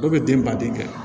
Dɔw bɛ den ban den kɛ